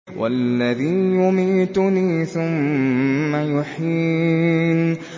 وَالَّذِي يُمِيتُنِي ثُمَّ يُحْيِينِ